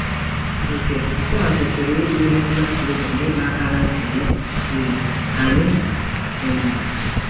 Nke Nke a kwesịrị ịbụ ihe nkasiobi na ịdọ aka ná ntị nye um anyị. um